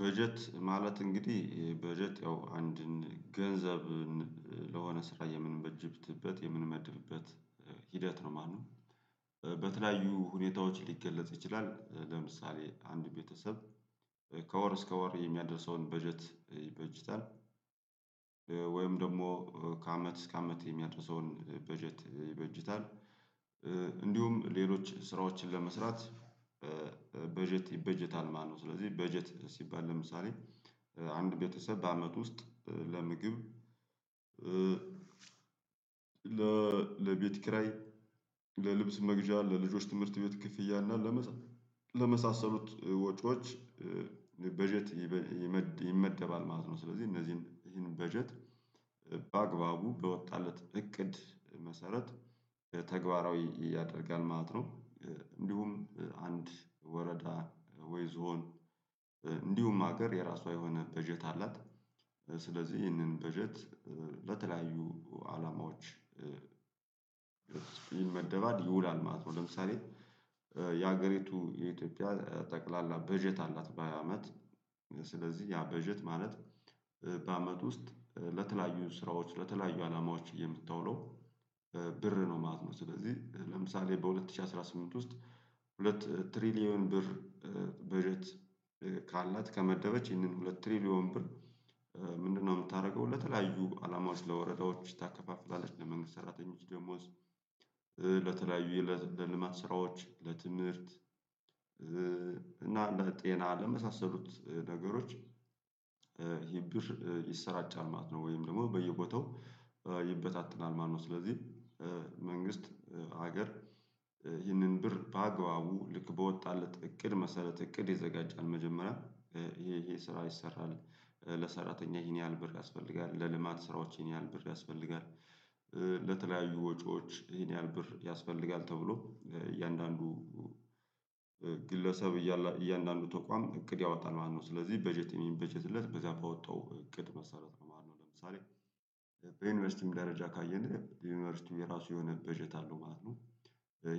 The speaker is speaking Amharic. በጀት ማለት እንግዲህ በጀት ያው አንድን ገንዘብን ለሆነ ስራ የምንበጅትበት የምንመድብበት ሂደት ነው ማለት ነው። በተለያዩ ሁኔታዎች ሊገለጽ ይችላል ለምሳሌ አንድ ቤተሰብ ከወር እስከ ወር የሚያደርሰውን በጀት ይበጅታል እ ወይም ደግሞ ከአመት እስከ አመት የሚያደርሰውን በጀት ይበጅታል። እ እንዲሁም ሌሎች ስራዎችን ለመስራት እ እ በ በጀት ይበጀታል ማለት ነው። ስለዚህ በጀት ሲባል ለምሳሌ አንድ ቤተሰብ በአመት ውስጥ ለምግብ እ ለቤት ኪራይ ለልብስ መግዣ ለልጆች ትምህርት ቤት ክፍያ እና ለመሳ ለመሳሰሉት ወጪዎች በጀት ይበ ይመ ይመደባል ማለት ነው። ስለዚህ እነዚህን ይህን በጀት ለ በአግባቡ በወጣለት እቅድ መሰረት ተግባራዊ ያደርጋል ማለት ነው። እንዲሁም አንድ ወረዳ ወይ ዞን እንዲሁም ሀገር የራሷ የሆነ በጀት አላት። ስለዚህ ይህንን በጀት ለተለያዩ አላማዎች ይመደባል ይውላል ማለት ነው። ለምሳሌ የሀገሪቱ የኢትዮጵያ ጠቅላላ በጀት አላት በአመት ስለዚህ ያ በጀት ማለት በአመት ውስጥ ለተለያዩ ስራዎች ለተለያዩ አላማዎች የምታውለው እ ብር ነው ማለት ነው። ስለዚህ ለምሳሌ በሁለት ሺህ አስራ ስምንት ውስጥ ሁለት ትሪሊየን ብር በጀት ካላት ከመደበች ይህንን ሁለት ትሪሊዮን ብር ምንድነው? የምታደርገው ለተለያዩ አላማዎች ለወረዳዎች ታከፋፍላልች ለመንግስት ሰራተኞች ደሞዝ እ ለ ለተለያዩ የለ ለልማት ስራዎች ለትምህርት እና ለጤና ለመሳሰሉት ነገሮች ይሰራጫል ማለት ነው ወይም ደግሞ በየቦታው ይበታተናል ማለት ነው። ስለዚህ መንግስት ሀገር ይህንን ብር በአግባቡ ልክ በወጣለት እቅድ መሰረት እቅድ ይዘጋጃል መጀመሪያ ይሄ ይሄ ስራ ይሰራል ለሰራተኛ ይሄን ያህል ብር ያስፈልጋል። ለልማት ስራዎች ይህን ያህል ብር ያስፈልጋል እ ለተለያዩ ወጪዎች ይሄን ያህል ብር ያስፈልጋል ተብሎ እያንዳንዱ እ ግለሰብ እያለ እያንዳንዱ ተቋም እቅድ ያወጣል ማለት ነው። ስለዚህ በጀት የሚበጀትለት በዚያ ባወጣው እቅድ መሰረት ነው ማለት ነው። ለምሳሌ በዩኒቨርሲቲም ደረጃ ካየን የዩኒቨርሲቲው የራሱ የሆነ በጀት አለው ማለት ነው።